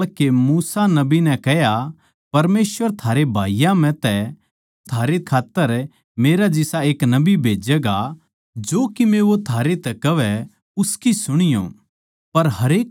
जिस ढाळ के मूसा नबी नै कह्या परमेसवर थारे भाईयाँ म्ह तै थारै खात्तर मेरै जिसा एक नबी भेज्जैगा जो कीमे वो थारै तै कहवै उसकी सुणीयो